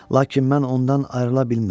Lakin mən ondan ayrıla bilmirəm.